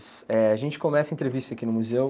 Eh, a gente começa a entrevista aqui no museu.